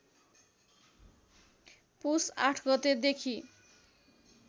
पुस ८ गतेदेखि